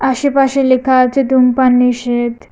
আশেপাশে লেখা আছে ধূমপান নিষেধ।